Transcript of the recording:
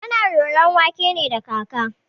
Ana roron wake ne da kaka.